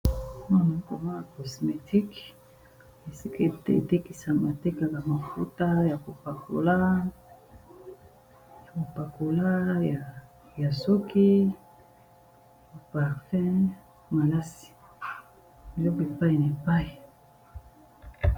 Awa nazalikomona cosmétiques ESI batekaka ba mafuta ya KO pakola ya suki, malasi pe biloko epayi na epayi.